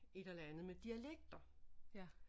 Et eller andet med dialekter